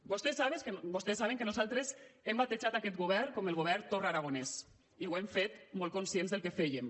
vostès saben que nosaltres hem batejat aquest govern com el govern torra aragonès i ho hem fet molt conscients del que fèiem